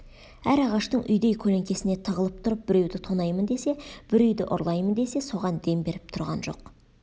әр ағаштың үйдей көлеңкесіне тығылып тұрып біреуді тонаймын десе бір үйді ұрлаймын десе соған дем беріп тұрған жоқ